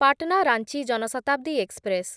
Patna Ranchi Jan Shatabdi express